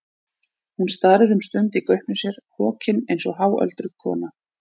Hún starir um stund í gaupnir sér, hokin eins og háöldruð kona.